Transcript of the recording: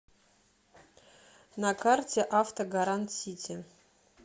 на карте автогарантсити